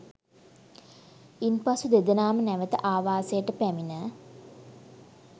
ඉන්පසු දෙදෙනාම නැවත ආවාසයට පැමිණ